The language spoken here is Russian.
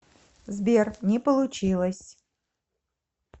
сбер не получилось